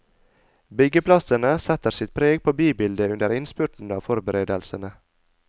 Byggeplassene setter sitt preg på bybildet under innspurten av forberedelsene.